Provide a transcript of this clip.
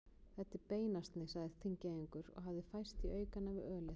Þetta er beinasni, sagði Þingeyingur og hafði færst í aukana við ölið.